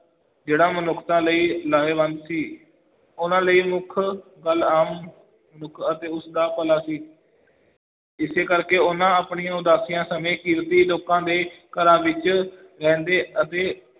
ਜਿਹੜਾ ਮਨੁੱਖਤਾ ਲਈ ਲਾਹੇਵੰਦ ਸੀ, ਉਹਨਾਂ ਲਈ ਮੁੱਖ ਗੱਲ ਆਮ ਮਨੁੱਖ ਅਤੇ ਉਸ ਦਾ ਭਲਾ ਸੀ ਇਸੇ ਕਰਕੇ ਉਹਨਾਂ ਆਪਣੀ ਉਦਾਸੀਆਂ ਸਮੇਂ ਕਿਰਤੀ ਲੋਕਾਂ ਦੇ ਘਰਾਂ ਵਿੱਚ ਰਹਿੰਦੇ ਅਤੇ